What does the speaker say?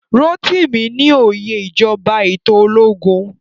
Rotimi ní óyè ìjọba eto ológun